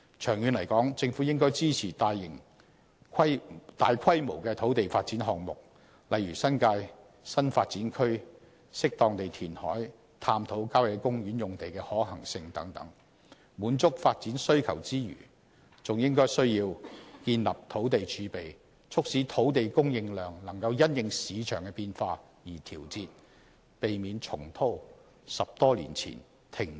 長遠而言，政府應支持大規模的土地發展項目，例如新界新發展區、適當地填海造地、探討郊野公園用地的可行性等，在滿足發展需求之餘，還要建立土地儲備，讓土地供應量可因應市場變化而調節，避免重蹈10多年前停止造地的覆轍。